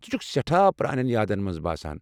ژٕ چھُکھ سٮ۪ٹھاہ پرانین یادن منز باسان ۔